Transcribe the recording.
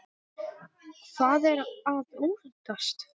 Hvað er að óttast?